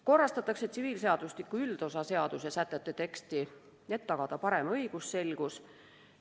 Korrastatakse tsiviilseadustiku üldosa seaduse sätete teksti, et tagada parem õigusselgus.